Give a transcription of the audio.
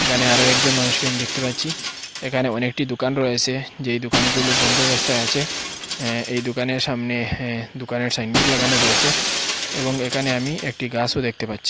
একানে আরো একজন মানুষকে আমি দেখতে পাচ্ছি এখানে অনেকটি দুকান রয়েসে যেই দুকানগুলো বন্দ অবস্থায় আছে এ্যাঁ এই দুকানের সামনে দুকানের সাইনবোর্ড লাগানো রয়েছে এবং একানে আমি একটি গাসও দেখতে পাচ্ছি।